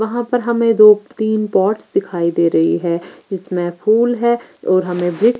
वहाँ पर हमे दो तीन पॉट्स दिखाई दे रही है जिसमे फूल है और हमे--